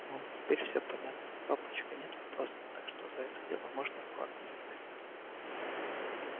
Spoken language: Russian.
мол теперь все понятно папочка нет вопросов так что за это дело можно и квакнуть как следует